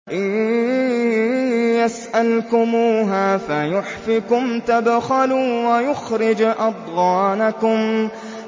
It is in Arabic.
إِن يَسْأَلْكُمُوهَا فَيُحْفِكُمْ تَبْخَلُوا وَيُخْرِجْ أَضْغَانَكُمْ